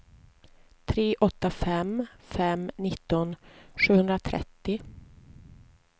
tre åtta fem fem nitton sjuhundratrettio